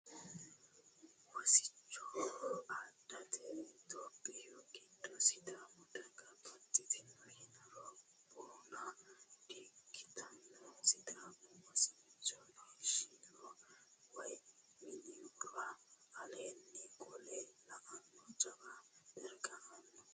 Wosicho adhate itophiyu gidde sidaamu daga baxxittano yiniro boona di"ikkittano, sidaamu wosichosi isihura woyi minihura aleenni qolle la"ano jawa dargano aano.